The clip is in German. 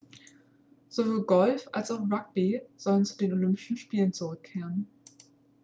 sowohl golf als auch rugby sollen zu den olympischen spielen zurückkehren